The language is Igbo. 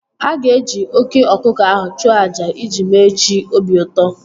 A ga-eji oké ọkụkọ ahụ chụọ àjà iji mee chi obi ụtọ